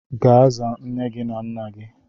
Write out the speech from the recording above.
Gaa zaa nne gị na nna gị okwu